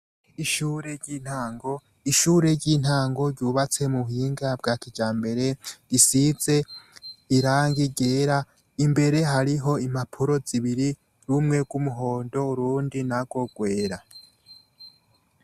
Ishure ry'intango, ishure ry'intango ryubatse mu buhinga bwa kijambere, risize irangi ryera, imbere hariho impapuro zibiri, rumwe rw'umuhondo, urundi narwo rwera.